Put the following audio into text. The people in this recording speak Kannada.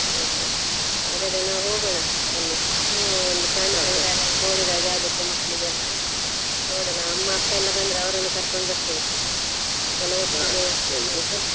Okay ಹಾಗಾದ್ರೆ ನಾವ್ ಹೋಗೋನಾ ಅಲ್ಲಿ ಒಂದು ಪ್ರಾಣಿಸಂಗ್ರಹಾಲಯ ನೋಡಿದಾಗ ಹಾಗೆ ಆಗುತ್ತೆ ಮಕ್ಕಳಿಗೆಲ್ಲಾ ನೋಡೊನಾ ಅಮ್ಮಾ ಅಪ್ಪಾ ಬಂದ್ರೆ ಅವರನ್ನು ಕರ್ಕೋಂಡು ಬರ್ತೀನಿ ಎಲ್ಲ .